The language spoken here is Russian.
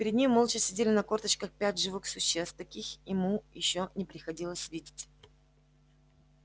перед ним молча сидели на корточках пять живых существ таких ему ещё не приходилось видеть